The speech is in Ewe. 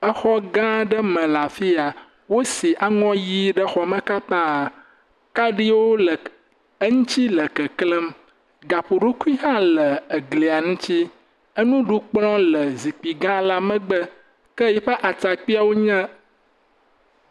Exɔ gã aɖe me le afi ya wosi aŋɔ ʋi ɖe xɔ eme, kaɖiwo le eŋuti le keklem, gaƒoɖokui hã le glia ŋuti. Enuɖukplɔ le zikpui gãwo megbe ke eƒe atrakpui le….